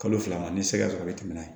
Kalo fila n ye sɛgɛ sɔrɔ ka tɛmɛ n'a ye